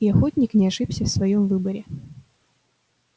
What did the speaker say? и охотник не ошибся в своём выборе